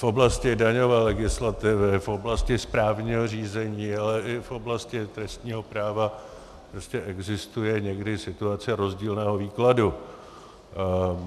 V oblasti daňové legislativy, v oblasti správního řízení, ale i v oblasti trestního práva prostě existuje někdy situace rozdílného výkladu.